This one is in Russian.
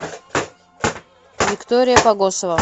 виктория погосова